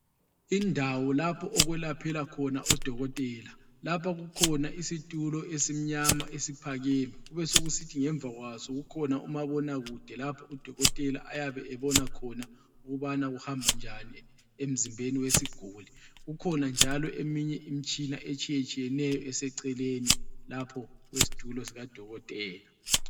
Indawo lapho okulaphela khona odokotela, lapha kukhona isitulo esimnyama esiphakeme, kubesekusithi ngemva kwaso kukhona umabonakude lapho udokotela ayabe ebona khona ukubana kuhamba njani emzimbeni wesiguli. Kukhona njalo eminye imitshina etshiyetshiyeneyo eceleni lapho kwesitulo sikadokotela.